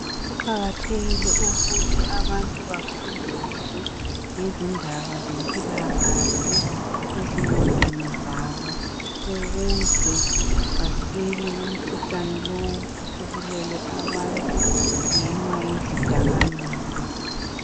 Kuqakathekile ukuthi abantu bafundiswe ngezindaba zempilakahle ezingqondweni zabo ukuze basile kumkhuhlane lowu osubulele abantu ngenxa yezidakamizwa.